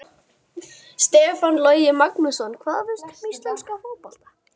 Stefán Logi Magnússon Hvað veistu um íslenska fótbolta?